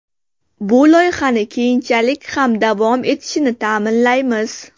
Bu loyihani keyinchalik ham davom etishini ta’minlaymiz.